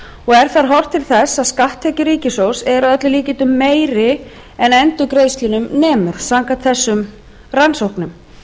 og er þar horft til þess að skatttekjur ríkissjóðs eru að öllum líkindum meiri en endurgreiðslunum nemur samkvæmt þessum rannsóknum